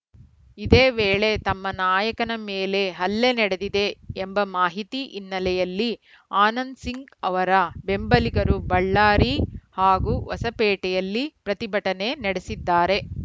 ಇದೇ ವೇಳೆ ತಮ್ಮ ನಾಯಕನ ಮೇಲೆ ಹಲ್ಲೆ ನಡೆದಿದೆ ಎಂಬ ಮಾಹಿತಿ ಹಿನ್ನೆಲೆಯಲ್ಲಿ ಆನಂದ್‌ ಸಿಂಗ್‌ ಅವರ ಬೆಂಬಲಿಗರು ಬಳ್ಳಾರಿ ಹಾಗೂ ಹೊಸಪೇಟೆಯಲ್ಲಿ ಪ್ರತಿಭಟನೆ ನಡೆಸಿದ್ದಾರೆ